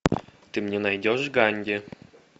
ты мне найдешь ганди